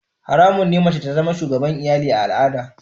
Haramun ne mace ta zama shugabar iyali a al'adata.